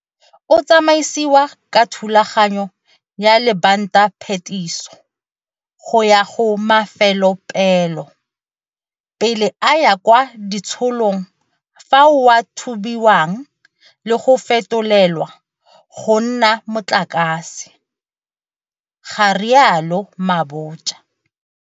O tsamaisiwa ka thulaganyo ya lebantaphetiso go ya go mafelopeelo, pele a ya kwa ditshilong fao a thubiwang le go fetolelwa go nna motlakase, ga rialo Mabotja.